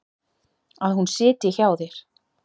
Að hún sitji hjá þér?